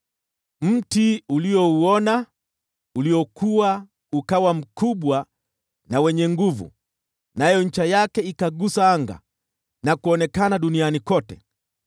Mti uliouona, uliokua ukawa mkubwa na wenye nguvu, nayo ncha yake ikagusa anga na kuonekana duniani kote,